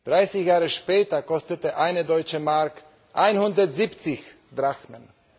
Dreißig Jahre später kostete eine Deutsche Mark 170 Drachmen!